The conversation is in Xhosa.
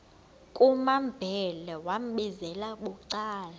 kumambhele wambizela bucala